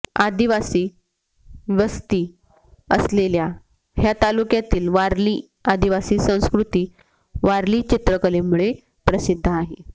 आदिवासी वस्ती असलेल्या ह्या तालुक्यातील वारली आदिवासी संस्कॄती वारली चित्रकलेमुळे प्रसिद्ध आहे